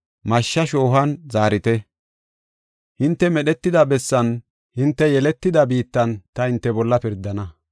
Mashshaa shoohuwan zaarite; hinte medhetida bessan, hinte yeletida biittan ta hinte bolla pirdana.